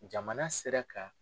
Jamana sera ka.